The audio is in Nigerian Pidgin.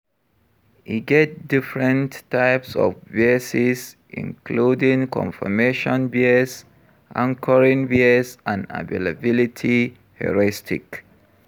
E get different types of biases, including confirmation bias, anchoring bias and availability heuristic.